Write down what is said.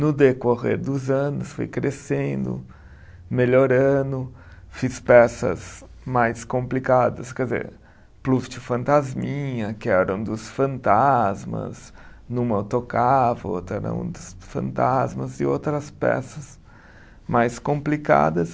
No decorrer dos anos, fui crescendo, melhorando, fiz peças mais complicadas, quer dizer, plus de fantasminha, que era um dos fantasmas, numa eu tocava, outra era um dos fantasmas, e outras peças mais complicadas.